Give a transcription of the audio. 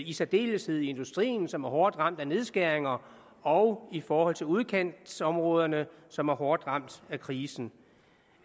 i særdeleshed i industrien som er hårdt ramt af nedskæringer og i forhold til udkantsområderne som er hårdt ramt af krisen